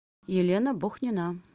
елена бухнина